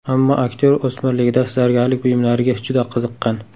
Ammo aktyor o‘smirligida zargarlik buyumlariga juda qiziqqan.